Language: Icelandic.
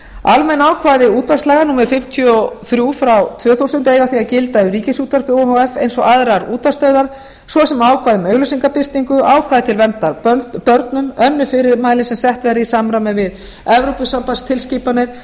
almenn ákvæði útvarpslaga númer fimmtíu og þrjú frá tvö þúsund eiga því að gilda um ríkisútvarpið o h f eins og aðrar útvarpsstöðvar svo sem ákvæði um auglýsingabirtingu ákvæði til verndar börnum önnur fyrirmæli sem sett verða í samræmi við evrópusambandstilskipanir